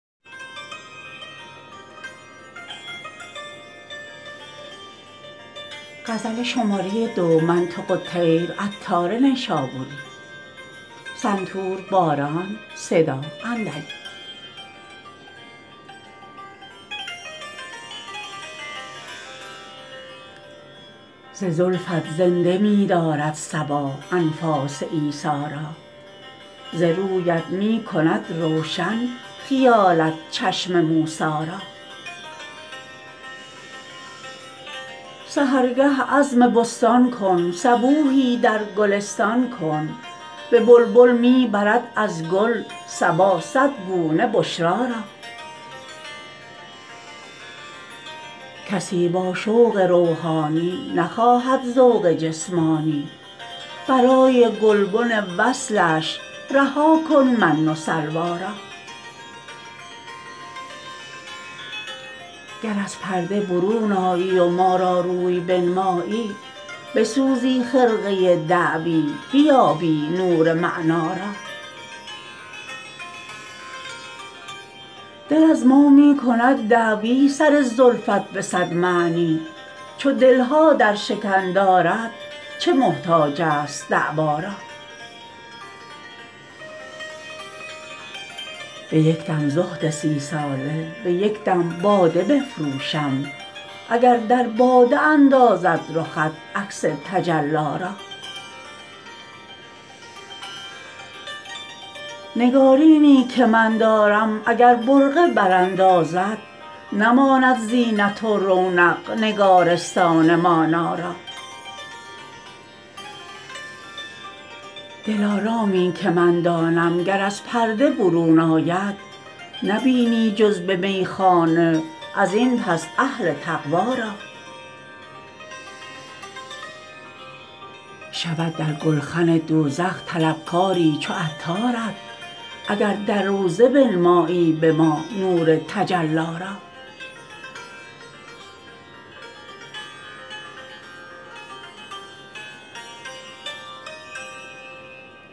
ز زلفت زنده می دارد صبا انفاس عیسی را ز رویت می کند روشن خیالت چشم موسی را سحرگه عزم بستان کن صبوحی در گلستان کن به بلبل می برد از گل صبا صد گونه بشری را کسی با شوق روحانی نخواهد ذوق جسمانی برای گلبن وصلش رها کن من و سلوی را گر از پرده برون آیی و ما را روی بنمایی بسوزی خرقه دعوی بیابی نور معنی را دل از ما می کند دعوی سر زلفت به صد معنی چو دل ها در شکن دارد چه محتاج است دعوی را به یک دم زهد سی ساله به یک دم باده بفروشم اگر در باده اندازد رخت عکس تجلی را نگارینی که من دارم اگر برقع براندازد نماند زینت و رونق نگارستان مانی را دلارامی که من دانم گر از پرده برون آید نبینی جز به میخانه ازین پس اهل تقوی را شود در گلخن دوزخ طلب کاری چو عطارت اگر در روضه بنمایی به ما نور تجلی را